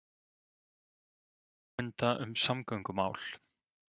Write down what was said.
Eyjamenn funda um samgöngumál